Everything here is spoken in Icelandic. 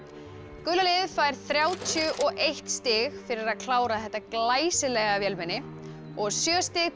gula liðið fær þrjátíu og eitt stig fyrir að klára þetta glæsilega vélmenni og sjö stig til